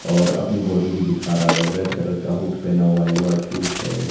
और अपनी बॉडी भी दिखा रहा है रेड कलर का हुड पहिना हुआ है व्हाइट शूज है।